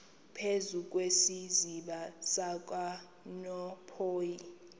phezu kwesiziba sikanophoyi